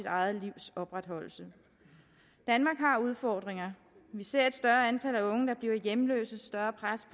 eget livs opretholdelse danmark har udfordringer vi ser et større antal af unge der bliver hjemløse et større pres